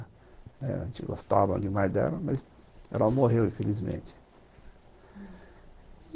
A gente gostava demais dela, mas ela morreu, infelizmente.